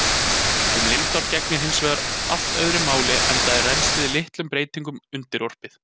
Um lindár gegnir hins vegar allt öðru máli enda er rennslið litlum breytingum undirorpið.